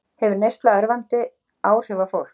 Hefur neyslan örvandi áhrif á fólk